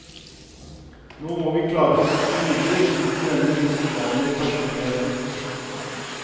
Nå må vi klare oss videre uten denne usedvanlige personligheten.